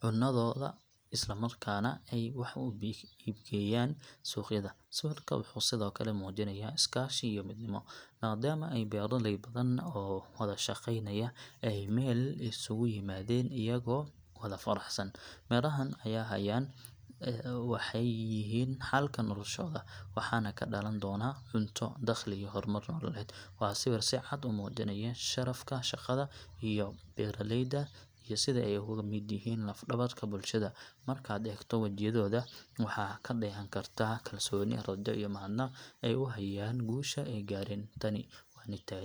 cunadooda isla markaana ay wax u iibgeeyaan suuqyada. Sawirka wuxuu sidoo kale muujinayaa iskaashi iyo midnimo, maadaama ay beeraley badan oo wada shaqeynaya ay meel isugu yimaadeen iyagoo wada faraxsan. Mirahan ay hayaan waxay yihiin xalka noloshooda, waxaana ka dhalan doona cunto, dakhli iyo horumar nololeed. Waa sawir si cad u muujinaya sharafka shaqada beeraleyda iyo sida ay uga mid yihiin laf-dhabarka bulshada. Markaad eegto wejiyadooda, waxaad ka dheehan kartaa kalsooni, rajo iyo mahadnaq ay u hayaan guusha ay gaareen. Tani waa .